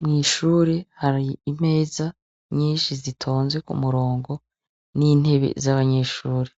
Mw'ishuri hari imeza nyinshi zitonze k'umurongo, n'intebe z'abanyeshure,